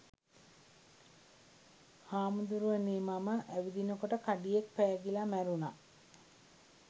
“හාමුදුරුවනේ මම ඇවිදිනකොට කඩියෙක් පෑගිලා මැරුණ.